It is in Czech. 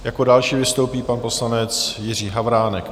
Jako další vystoupí pan poslanec Jiří Havránek.